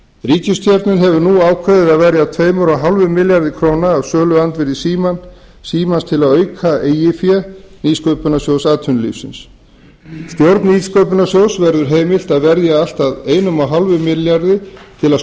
ríkisstjórnin hefur nú ákveðið að verja tveimur hálfum milljarði króna af söluandvirði símans til þess að auka eigið fé nýsköpunarsjóðs atvinnulífsins stjórn nýsköpunarsjóðs verður heimilt að verja allt að ein hálfum milljarði til að